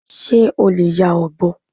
Ṣé o lè ya ọ̀bọ?